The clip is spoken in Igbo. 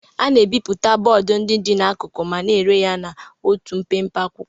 A na-ebipụta bọọdụ ndị dị n'akụkụ ma na-ere ya n'otu mpempe akwụkwọ.